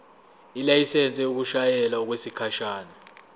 ilayisensi yokushayela okwesikhashana